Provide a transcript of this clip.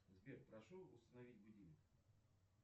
сбер прошу установить будильник